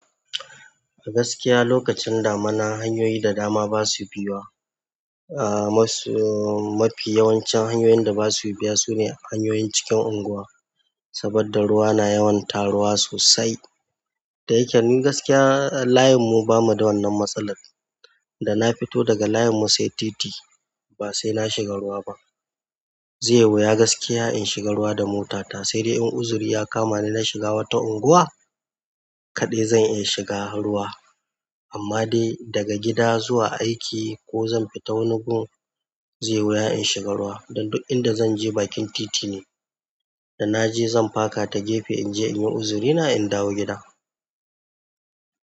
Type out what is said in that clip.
A gaskiya lokacin damuna hanyoyi da dama basu biya. Ah mas- mafi yawancin hanyoyin da basu biya sune hanyoyin cikin unguwa. Saboda ruwa na yawan taruwa sosai. Da yake ni gaskiya layin mu bamu da wannan matsalar. Da na fito daga layin mu sai titi ba sai na shiga ruwa ba. Zai wuya gaskiya in shiga ruwa da mota ta. Sai dai in uzuri ya kama ni na shiga wata unguwa kaɗai zan iya shiga ruwa. Amma dai daga gida zuwa aiki ko zan fita wani gun zai wuya in shiga ruwa. Dan duk inda zanje bakin titine. Da naje zan faka ta gefe in je in yi uzuri na in dawo gida.